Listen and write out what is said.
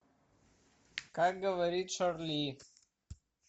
как говорит шарли